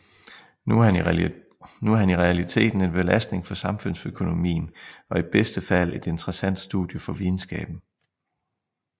Nu er han i realiteten en belastning for samfundsøkonomien og i bedste fald et interessant studie for videnskaben